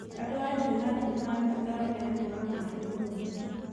Andũ a Adjumani nĩ marabatara ũheani wa maaĩ mũrũmu